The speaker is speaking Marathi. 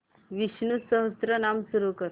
विष्णु सहस्त्रनाम सुरू कर